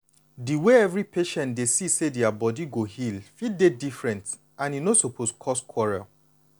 di way every patient dey see say dia body go heal fit dey different and e no suppose cause quarrel.